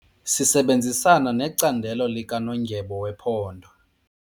Sisebenzisana necandelo likanondyebo wephondo.